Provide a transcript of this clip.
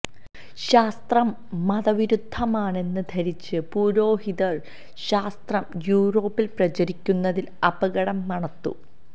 ശാസ്ത്രം മതവിരുദ്ധമാണെന്ന് ധരിച്ച് പുരോഹിതര് ശാസ്ത്രം യൂറോപ്പില് പ്രചരിക്കുന്നതില് അപകടം മണത്തു